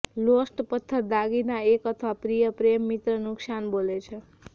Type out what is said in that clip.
lost પથ્થર દાગીના એક અથવા પ્રિય પ્રેમ મિત્ર નુકશાન બોલે છે